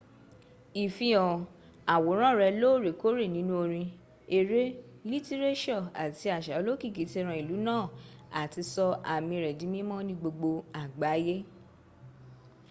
ìfihàn àwòrán rẹ lóorèkòorẹ́ nínú orin ẹrẹ́ lítírẹ́sọ̀ àti àsa olókìkí ti ran ìlu náà áti sọ ámí rẹ di mímọ̀ ní gbogbo àgbáyẹ́